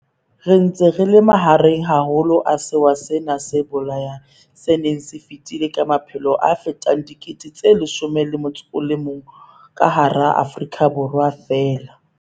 Re ntse re le mahareng haholo a sewa sena se bolayang se seng se fetile ka maphelo a fetang 11 000 ka hara Afrika Borwa feela.